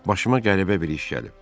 Başıma qəribə bir iş gəlib.